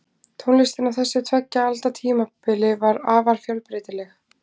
Tónlistin á þessu tveggja alda tímabili var afar fjölbreytileg.